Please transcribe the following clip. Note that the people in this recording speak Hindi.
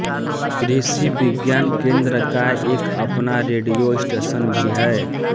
कृषि विज्ञान केन्द्र का एक अपना रेड़ियो स्टेशन भी हैं